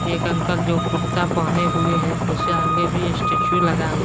एक अंकल जो कुर्ता पहने हुए हैं उसके आगे भी स्टैचू लगा हुआ--